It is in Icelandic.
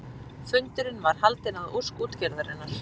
Fundurinn var haldinn að ósk útgerðarinnar